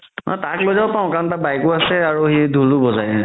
অ তাক লই যাব পাৰো কাৰণ তাৰ bike ও আছে আৰু সি ধুলো বজাই